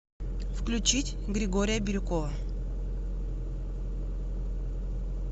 включить григория бирюкова